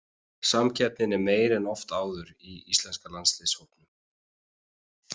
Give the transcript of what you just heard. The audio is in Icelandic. Samkeppnin er meiri en oft áður í íslenska landsliðshópnum.